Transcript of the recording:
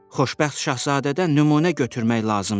Xoşbəxt Şahzadədən nümunə götürmək lazımdır.